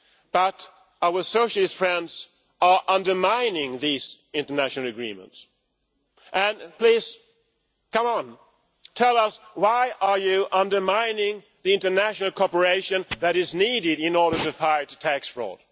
But our socialist friends are undermining these international agreements. Come on, tell us why are you undermining the international cooperation that is needed in order to fight tax fraud?